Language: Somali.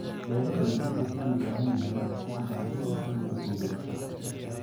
Beeralaygu wuxuu u baahan yahay maskax ganacsi si uu u guulaysto.